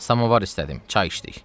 Samavar istədim, çay içdik.